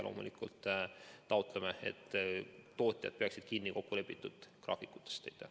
Loomulikult taotleme, et tootjad peaksid kinni kokkulepitud graafikutest.